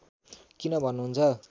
किन भन्नुहुन्छ